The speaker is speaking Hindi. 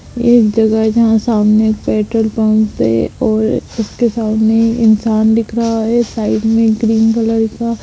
एक जगह है जहा सामने एक पेट्रोल पम्प है ओर उसके सामने इंसान दिख रहा है साइड में एक ग्रीन कलर का--